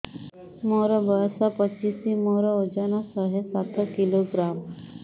ମୋର ବୟସ ପଚିଶି ମୋର ଓଜନ ଶହେ ସାତ କିଲୋଗ୍ରାମ